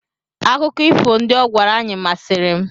Akụkọ ifo ndị ọ gwara anyị masịrị m.